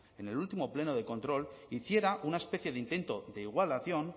en el último pleno de control hiciera una especie de intento de igualación